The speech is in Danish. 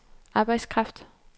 arbejdskraft